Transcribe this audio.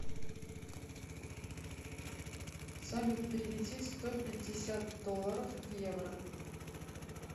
салют переведи сто пятьдесят долларов в евро